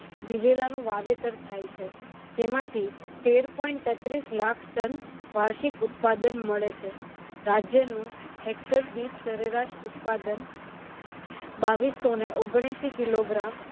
દિવેલાનું વાવેતર થાય છે. જેમાંથી તેર point તેત્રીસ લાખ ton વાર્ષિક ઉત્પાદન મળે છે. રાજ્યનું hector દીઠ સરેરાશ ઉત્પાદન બાવિસ સો નેવ્યાશી kilogram